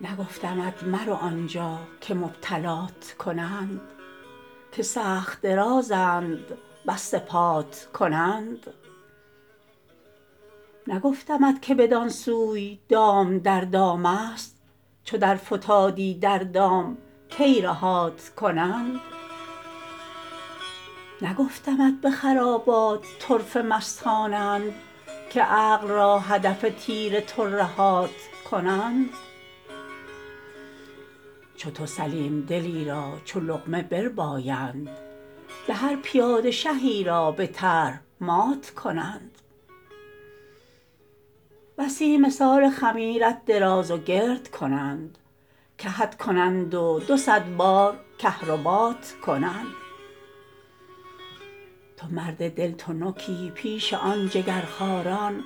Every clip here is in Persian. نگفتمت مرو آن جا که مبتلات کنند که سخت دست درازند بسته پات کنند نگفتمت که بدان سوی دام در دامست چو درفتادی در دام کی رهات کنند نگفتمت به خرابات طرفه مستانند که عقل را هدف تیر ترهات کنند چو تو سلیم دلی را چو لقمه بربایند به هر پیاده شهی را به طرح مات کنند بسی مثال خمیرت دراز و گرد کنند کهت کنند و دو صد بار کهربات کنند تو مرد دل تنکی پیش آن جگرخواران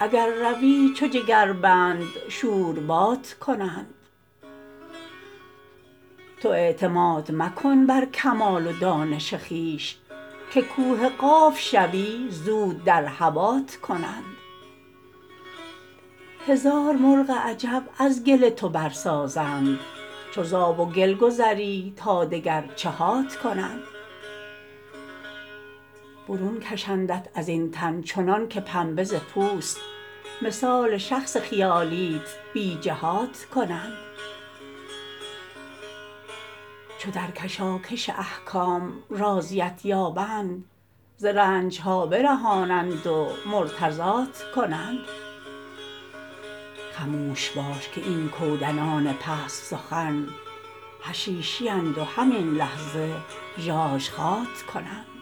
اگر روی چو جگربند شوربات کنند تو اعتماد مکن بر کمال و دانش خویش که کوه قاف شوی زود در هوات کنند هزار مرغ عجب از گل تو برسازند چو ز آب و گل گذری تا دگر چه هات کنند برون کشندت از این تن چنان که پنبه ز پوست مثال شخص خیالیت بی جهات کنند چو در کشاکش احکام راضیت یابند ز رنج ها برهانند و مرتضات کنند خموش باش که این کودنان پست سخن حشیشی اند و همین لحظه ژاژخات کنند